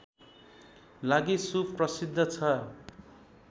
लागि सुप्रसिद्ध छ